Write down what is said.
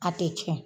A tɛ tiɲɛ